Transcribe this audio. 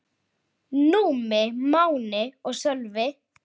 Númi, Máni og Sölvi.